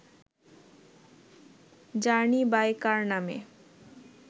journey by car নামে